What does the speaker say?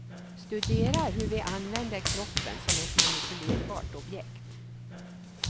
Studerar hur vi använder kroppen som ett manipulerbart objekt.